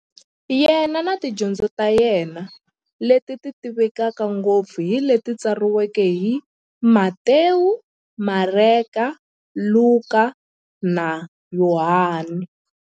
Yena na tidyondzo ta yena, leti tivekaka ngopfu hi leti tsariweke hi-Matewu, Mareka, Luka, na Yohani.